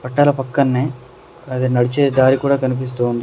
తన పక్కనే అది నడిచే దారి కూడా కనిపిస్తోంది.